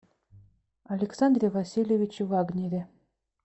александре васильевиче вагнере